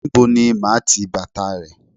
Níbo ni màá ti bàtà rè?